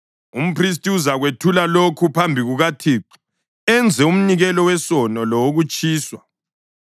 Umphristi uzakwethula lokhu phambi kukaThixo enze umnikelo wesono lowokutshiswa.